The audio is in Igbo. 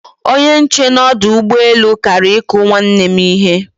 Onye nche n'odu ugboelu Kara iku nwanne m ihe